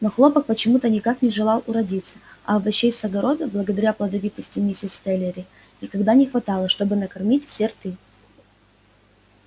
но хлопок почему-то никак не желал уродиться а овощей с огорода благодаря плодовитости миссис слэттери никогда не хватало чтобы накормить все рты